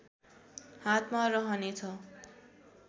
हातमा रहने छ